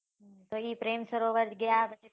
પછી પ્રેમ સરોવર ગયા.